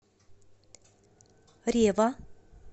рева